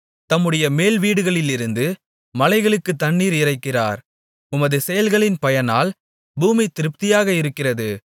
தம்முடைய மேல்வீடுகளிலிருந்து மலைகளுக்குத் தண்ணீர் இறைக்கிறார் உமது செயல்களின் பயனால் பூமி திருப்தியாக இருக்கிறது